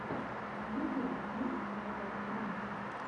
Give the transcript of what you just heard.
в ютубе можешь показать пранки